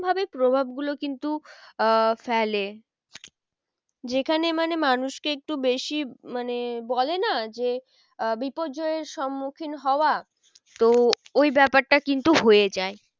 ভাবে প্রভাব গুলো কিন্তু আহ ফেলে যেখানে মানে মানুষকে একটু বেশি মানে বলে না যে আহ বিপর্যয়ের সম্মুখীন হওয়া তো ওই ব্যাপারটা কিন্তু হয়ে যায়।